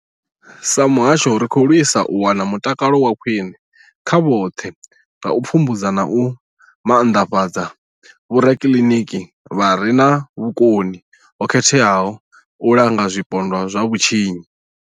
Sa muhasho, ri khou lwisa u wana mutakalo wa khwine kha vhoṱhe nga u pfumbudza na u maanḓafhadza vhorakiliniki vha re na vhukoni ho khetheaho u langa zwipondwa zwa vhutshinyi.